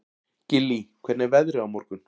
Gillý, hvernig er veðrið á morgun?